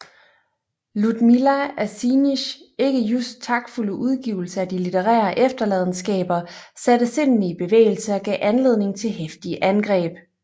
Ludmilla Assings ikke just taktfulde udgivelse af de litterære efterladenskaber satte sindene i bevægelse og gav anledning til heftige angreb